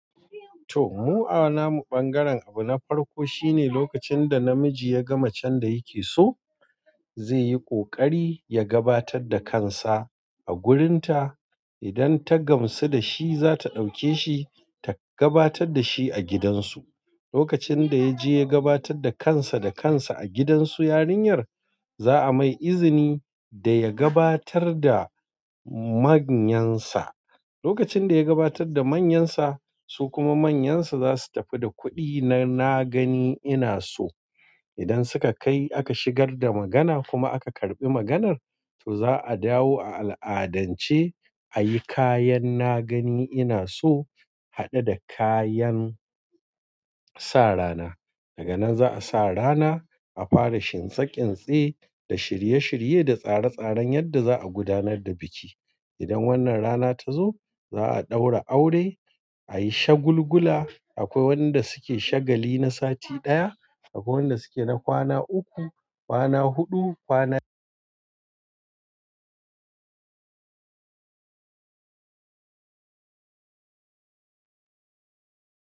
To, mu a namu ɓangaren abu na farko shine lokacin da namiji ya gama macen da yake so, zai yi ƙoƙari ya gabatar da kansa a gurin ta. Idan ta gamsu da shi, za ta ɗauke shi ta gabatar da shi a gidansu. Lokacin da ya je ya gabatar da kansa da kansa a gidansu yarinyar, za'a mai izini da ya gabatar da manyansa. Lokacin da ya gabatar da manyansa, su kuma manyansa za su tafi da kuɗi na na gani ina so. Idan suka kai aka shigar da magana kuma aka karɓi maganar, to za'a dawo a al'adance ayi kayan na gani ina so haɗe da kayan sa rana. Daga nan za'a sa rana, a fara shinsa ƙinɗsi da shirye-shirye da tsare-tsaren yadda za a gudanar da biki. Idan wannan rana ta zo za'a ɗaura aure, a yi shagulgula. Akwai wanda suke shagali na sati ɗaya, akwai wanda suke na kwana uku, kwana huɗu, kwana.